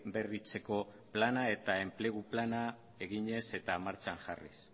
berritzeko plana eta enplegu plana eginez eta martxan jarriz